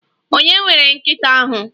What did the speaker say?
Ònye nwere nkita ahu?